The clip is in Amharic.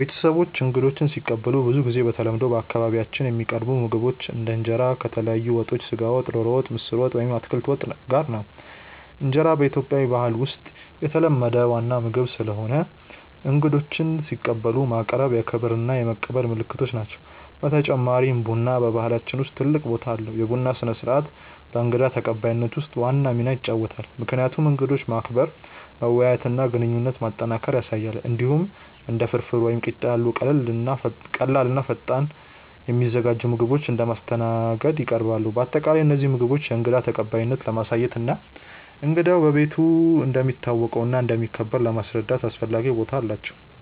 ቤተሰቦቼ እንግዶችን ሲቀበሉ ብዙ ጊዜ በተለምዶ በአካባቢያችን የሚቀርቡ ምግቦች እንደ እንጀራ ከተለያዩ ወጦች (ስጋ ወጥ፣ ዶሮ ወጥ፣ ምስር ወጥ ወይም አትክልት ወጥ) ጋር ነው። እንጀራ በኢትዮጵያ ባህል ውስጥ የተለመደ ዋና ምግብ ስለሆነ እንግዶችን ሲቀበሉ ማቅረቡ የክብር እና የመቀበል ምልክት ነው። በተጨማሪም ቡና በባህላችን ውስጥ ትልቅ ቦታ አለው፤ የቡና ስነ-ስርዓት በእንግዳ ተቀባይነት ውስጥ ዋና ሚና ይጫወታል፣ ምክንያቱም እንግዶችን ማክበር፣ መወያየት እና ግንኙነት ማጠናከር ያሳያል። እንዲሁም እንደ ፍርፍር ወይም ቂጣ ያሉ ቀላል እና ፈጣን የሚዘጋጁ ምግቦች እንደ ማስተናገድ ይቀርባሉ። በአጠቃላይ እነዚህ ምግቦች የእንግዳ ተቀባይነትን ለማሳየት እና እንግዳው በቤት እንደሚታወቀው እና እንደሚከበር ለማስረዳት አስፈላጊ ቦታ አላቸው።